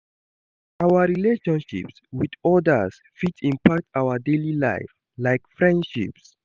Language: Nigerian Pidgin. Our relationships with odas fit impact our daily life, like friendships.